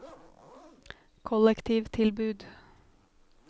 kollektivtilbud